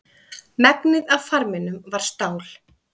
Megnið af farminum var stál.